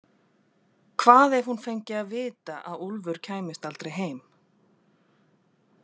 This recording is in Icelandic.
Hvað ef hún fengi að vita að Úlfur kæmist aldrei heim?